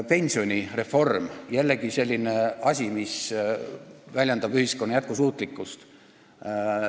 Pensionireform – jällegi selline asi, mis väljendab ühiskonna jätkusuutlikkust.